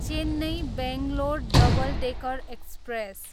Chennai, Bangalore double decker express